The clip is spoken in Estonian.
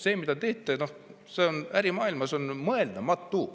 See, mida te teete, on ärimaailmas mõeldamatu.